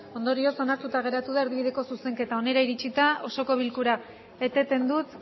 ondorioz onartuta geratu da erdibideko zuzenketa honera iritsita osoko bilkura eteten dut